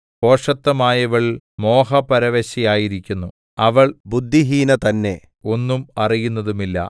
ഭോഷത്വമായവൾ മോഹപരവശയായിരിക്കുന്നു അവൾ ബുദ്ധിഹീന തന്നെ ഒന്നും അറിയുന്നതുമില്ല